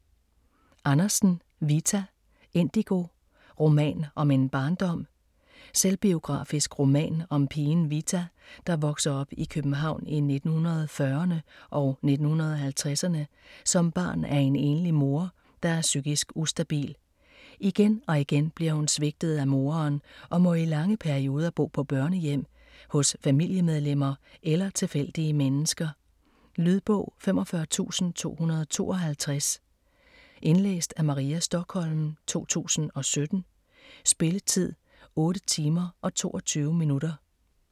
Andersen, Vita: Indigo: roman om en barndom Selvbiografisk roman om pigen Vita, der vokser op i København i 1940'erne og 1950'erne som barn af en enlig mor, der er psykisk ustabil. Igen og igen bliver hun svigtet af moderen og må i lange perioder bo på børnehjem, hos familiemedlemmer eller tilfældige mennesker. Lydbog 45252 Indlæst af Maria Stokholm, 2017. Spilletid: 8 timer, 22 minutter.